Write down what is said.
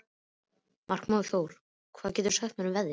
Markþór, hvað geturðu sagt mér um veðrið?